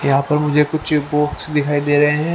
यहां पर मुझे कुछ बुक्स दिखाई दे रहे हैं।